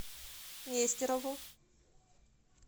нестерову